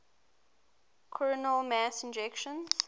coronal mass ejections